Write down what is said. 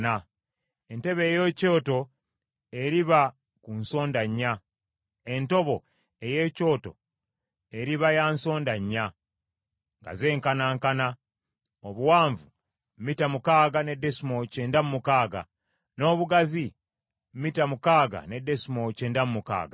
Entobo ey’ekyoto eriba ya nsonda nnya, nga zenkanankana, obuwanvu mita mukaaga ne desimoolo kyenda mu mukaaga, n’obugazi mita mukaaga ne desimoolo kyenda mu mukaaga.